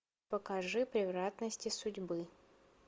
покажи превратности судьбы